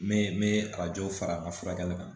Me n bɛ arajo fara n ka furakɛli kan